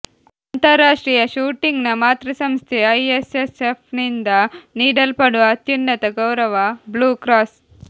ಅಂತರ್ರಾಷ್ಟ್ರೀಯ ಶೂಟಿಂಗ್ನ ಮಾತೃಸಂಸ್ಥೆ ಐಎಸ್ಎಸ್ಎಫ್ನಿಂದ ನೀಡಲ್ಪಡುವ ಅತ್ಯುನ್ನತ ಗೌರವ ಬ್ಲೂ ಕ್ರಾಸ್